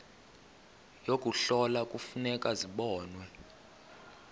yokuhlola kufuneka zibonwe